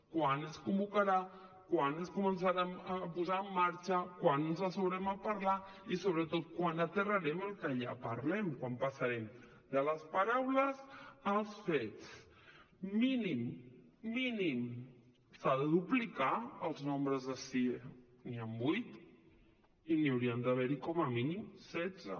quan es convocarà quan es començarà a posar en marxa quan ens asseurem a parlar i sobretot quan aterrarem el que allà parlem quan passarem de les paraules als fets mínim mínim s’han de duplicar els nombres de sie n’hi han vuit i n’hi hauria d’haver com a mínim setze